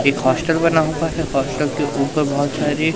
एक हॉस्टल बना होता है हॉस्टल के ऊपर बहोत सारी--